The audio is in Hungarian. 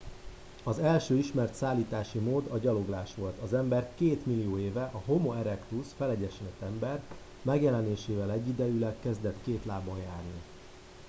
az első ismert szállítási mód a gyaloglás volt. az ember két millió éve a homo erectus felegyenesedett ember megjelenésével egyidejűleg kezdett két lábon járni